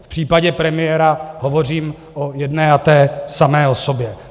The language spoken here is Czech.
V případě premiéra hovořím o jedné a té samé osobě.